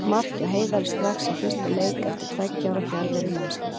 Mark hjá Heiðari strax í fyrsta leik eftir um tveggja ára fjarveru í landsliðinu.